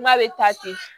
N'a bɛ taa ten